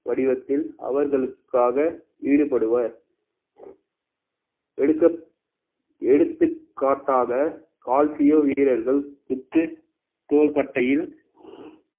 வடிவத்தில் அவர்களுக்காக ஈடுபடுவர் எடுக்க~ எடுத்துக்காட்டாக கால்சியம் வீரர்கள் வித்து தோள்பட்டையில்